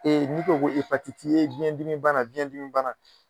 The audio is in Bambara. n'i ko ko biyɛn dimi bana biyɛn dimi bana